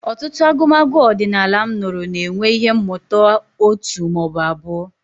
Ọtụtụ agụmagụ ọdịnala m nụrụ na-enwe ihe mmụta òtù ma ọ bụ abụọ.